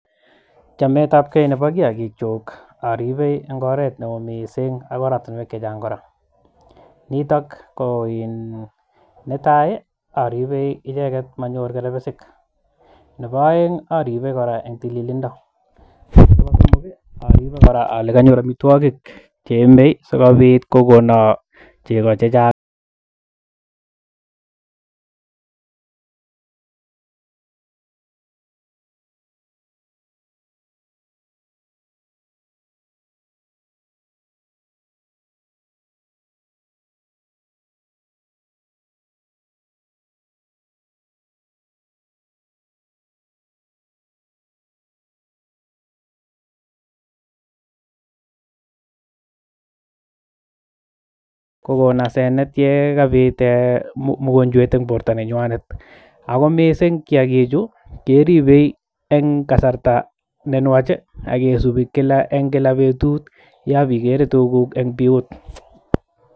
Chametapkei nebo kiyakikchunk aripei eng oret neoo mising ak oratinwek chechang koraa nitok Koo netai ii aripee manyorr kerbesik nebo oeng aripee koraa eng tililindo koraa aripee kolee kanyor amwitwakik cheyomee sikopiit kokonaa chekoo chechang